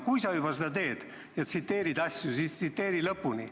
Kui sa juba seda teed ja tsiteerid, siis tsiteeri lõpuni.